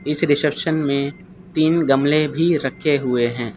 इस रिसेप्शन में तीन गमले भी रखे हुए है।